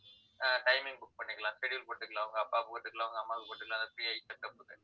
ஆஹ் timing book பண்ணிக்கலாம் schedule போட்டுக்கலாம் உங்க அப்பாவுக்கு போட்டுக்கலாம் உங்க அம்மாவுக்கு போட்டுக்கலாம் அந்த free eye checkup க்கு